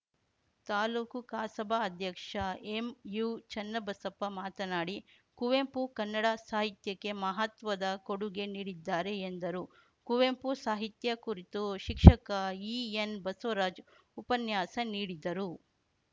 ತಾಲೂಕು ಕಸಾಪ ಅಧ್ಯಕ್ಷ ಎಂಯುಚನ್ನಬಸಪ್ಪ ಮಾತನಾಡಿ ಕುವೆಂಪು ಕನ್ನಡ ಸಾಹಿತ್ಯಕ್ಕೆ ಮಹತ್ವದ ಕೊಡುಗೆ ನೀಡಿದ್ದಾರೆ ಎಂದರು ಕುವೆಂಪು ಸಾಹಿತ್ಯ ಕುರಿತು ಶಿಕ್ಷಕ ಈಎನ್‌ಬಸವರಾಜ್‌ ಉಪನ್ಯಾಸ ನೀಡಿದರು